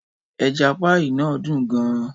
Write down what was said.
Ẹja pie náà dùn gan-an.